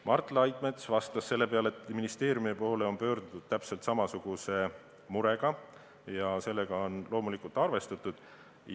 Mart Laidmets vastas selle peale, et ministeeriumi poole on pöördutud täpselt samasuguse murega ja sellega on loomulikult arvestatud.